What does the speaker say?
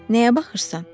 Nəyə baxırsan?